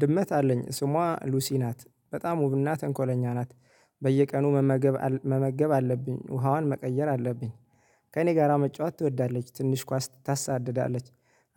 ድመት አለኝ ስሟ ሉሲ ናት በጣም ውብና ተንኮለኛ ናት። በየቀኑ መመገብ መመገብ አለብኝ ውሃዋን መቀየር አለብኝ። ከእኔ ጋራ መጫወት ትወዳለች ትንሽ ኳስ ታሳድዳለች።